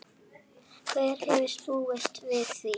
Hver hefði búist við því?